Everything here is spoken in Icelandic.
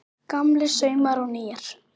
Gamlir saumar og nýir